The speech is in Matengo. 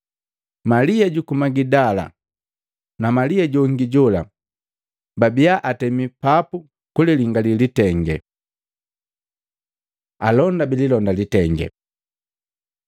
Malia juku Magidala na Malia jongi jola babia atemi papu kulilingali litengee. Alonda bililonda litenge